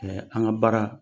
Ɛɛ an ka baara